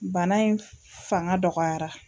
Bana in fanga dɔgɔyara